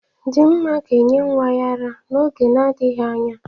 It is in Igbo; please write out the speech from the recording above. Dinma ga-enye nwa ya ara n'oge na-adịghị anya.